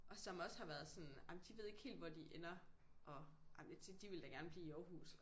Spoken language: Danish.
Og som også har været sådan ej men de ved ikke helt hvor de ender og ej men tit de ville da godt blive i Aarhus